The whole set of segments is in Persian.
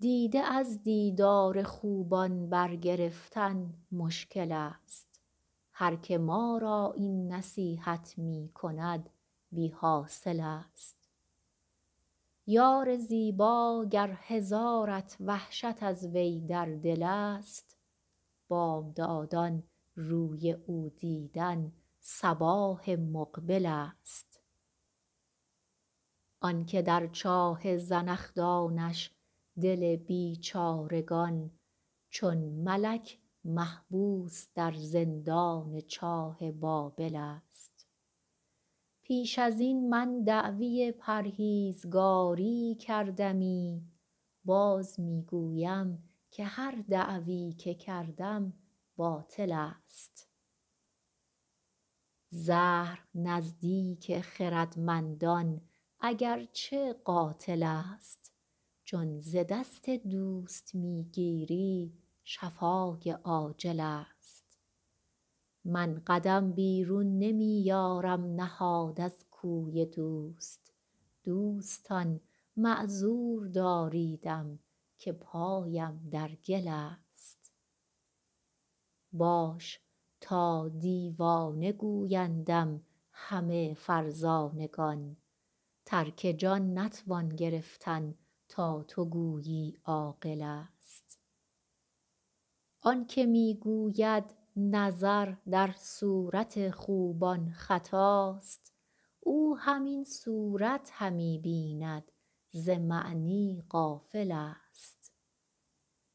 دیده از دیدار خوبان برگرفتن مشکل ست هر که ما را این نصیحت می کند بی حاصل ست یار زیبا گر هزارت وحشت از وی در دل ست بامدادان روی او دیدن صباح مقبل ست آن که در چاه زنخدانش دل بیچارگان چون ملک محبوس در زندان چاه بابل ست پیش از این من دعوی پرهیزگاری کردمی باز می گویم که هر دعوی که کردم باطل ست زهر نزدیک خردمندان اگر چه قاتل ست چون ز دست دوست می گیری شفای عاجل ست من قدم بیرون نمی یارم نهاد از کوی دوست دوستان معذور داریدم که پایم در گل ست باش تا دیوانه گویندم همه فرزانگان ترک جان نتوان گرفتن تا تو گویی عاقل ست آن که می گوید نظر در صورت خوبان خطاست او همین صورت همی بیند ز معنی غافل ست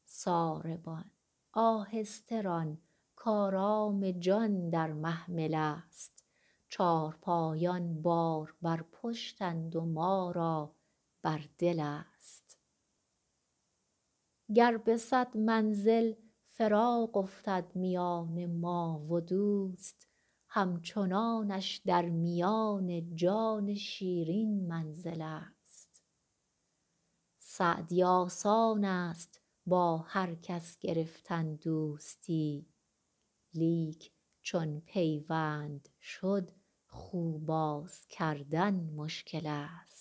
ساربان آهسته ران کآرام جان در محمل ست چارپایان بار بر پشتند و ما را بر دل ست گر به صد منزل فراق افتد میان ما و دوست همچنانش در میان جان شیرین منزل ست سعدی آسان ست با هر کس گرفتن دوستی لیک چون پیوند شد خو باز کردن مشکل ست